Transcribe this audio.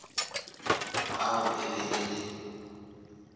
ao e be e le